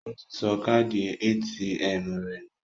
Ó ti sọ káàdì ATM rẹ̀ nù